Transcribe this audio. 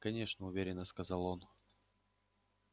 конечно уверенно сказал он